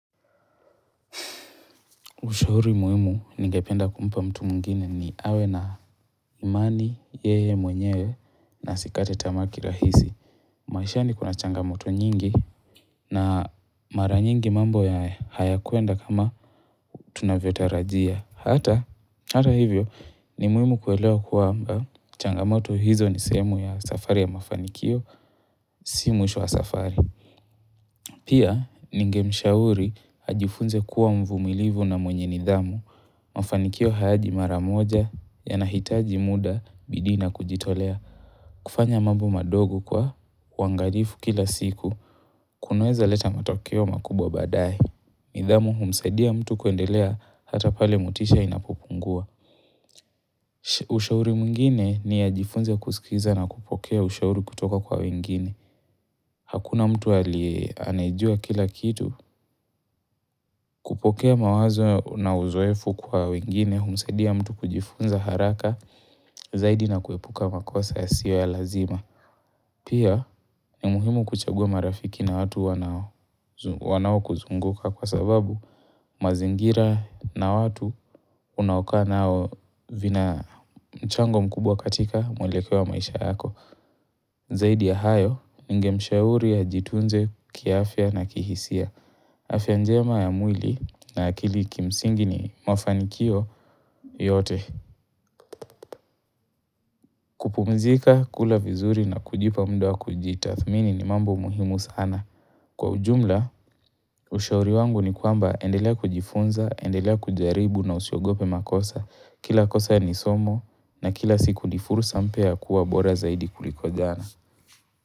Ushauri muhimu ningependa kumpa mtu mwingine ni awe na imani yeye mwenyewe na asikate tamaa kirahisi. Maishani kuna changamoto nyingi na mara nyingi mambo ya hayakuenda kama tunavyo tarajia. Hata hivyo ni muhimu kuelewa kwamba changamoto hizo ni sehemu ya safari ya mafanikio si mwisho wa safari. Pia ningemshauri ajifunze kuwa mvumilivu na mwenye nidhamu. Mafanikio hayaji mara moja yanahitaji muda, bidii na kujitolea. Kufanya mambo madogo kwa uangalifu kila siku. Kunaweza leta matokeo makubwa badaye nidhamu humsaidia mtu kuendelea hata pale motisha inapopungua. Ushauri mwingine ni ajifunze kusikiza na kupokea ushauri kutoka kwa wengine. Hakuna mtu aliye anejua kila kitu. Kupokea mawazo na uzoefu kwa wengine, humsaidia mtu kujifunza haraka. Zaidi na kuepuka makosa yasiyo ya lazima Pia ni muhimu kuchagua marafiki na watu wanao wanao kuzunguka Kwa sababu mazingira na watu unaokaa nao vina mchango mkubwa katika mwelekeo wa maisha yako Zaidi ya hayo, ningemshauri ajitunze kiafya na kihisia afya njema ya mwili na akili kimsingi ni mafanikio yote kupumzika, kula vizuri na kujipa muda wa kujitathmini ni mambo muhimu sana Kwa ujumla, ushauri wangu ni kwamba endelea kujifunza, endelea kujaribu na usiogope makosa. Kila kosa ni somo na kila siku ni fursa mpya ya kuwa bora zaidi kuliko dana.